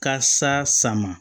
Ka sa ma